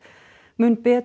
mun betri